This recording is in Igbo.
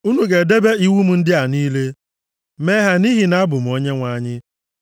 “Unu ga-edebe iwu m ndị a niile, mee ha nʼihi na abụ m Onyenwe anyị.